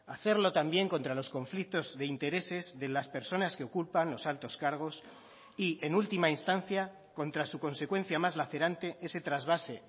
hacerlo también contra los conflictos de intereses de las personas que ocupan los altos cargos y en última instancia contra su consecuencia más lacerante ese trasvase